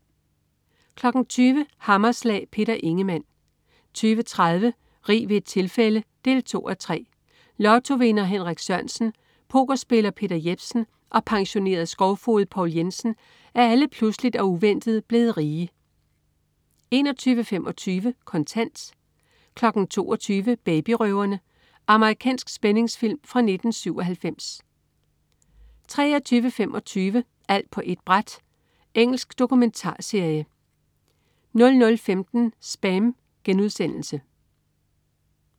20.00 Hammerslag. Peter Ingemann 20.30 Rig ved et tilfælde 2:3. Lottovinder Henrik Sørensen, pokerspiller Peter Jepsen og pensionerede skovfoged Poul Jensen er alle pludseligt og uventet blevet rige 21.25 Kontant 22.00 Babyrøverne. Amerikansk spændingsfilm fra 1997 23.25 Alt på ét bræt. Engelsk dokumentarserie 00.15 SPAM*